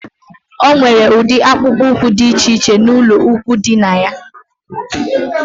O nwere udi akpukpu úkwú dị iche iche n'ulo ikwụ dina yá